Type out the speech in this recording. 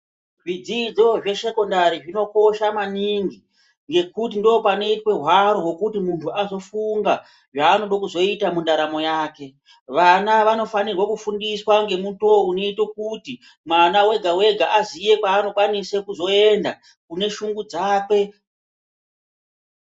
Zvidzidzo zvesekondari zvinokosha maningi ngekuti ndipo panoitwa hwaro hwekuti vantu vanozofunga zvanoda kuzoita mundaramo yake vana vanofundiswa nemito inoita kuti mwana wega wega azive kwanokwanisa kuenda kune shungu dzakwe.